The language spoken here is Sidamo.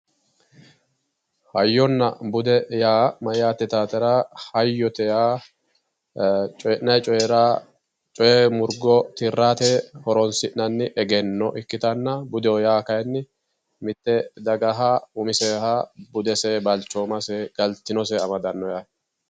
hayyonna bude yaa mayyaate yitaatera hayyote yaa ee coyii'nanni coyira coye murgo tirate horonsi'nanni egenno ikkitanna budeho yaa kayiinni mitte dagaha umiseha budese balchoomase galtinose amadanno yaate.